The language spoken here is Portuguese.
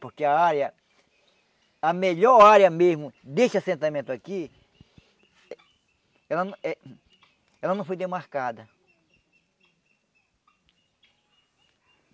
Porque a área, a melhor área mesmo desse assentamento aqui, ela eh ela não foi demarcada.